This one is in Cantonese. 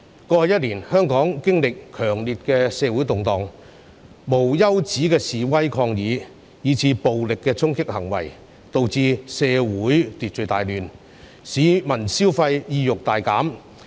過去一年，香港經歷了強烈的社會動盪，無休止的示威抗議，以至暴力的衝擊行為，導致社會秩序大亂，市民消費意欲大減。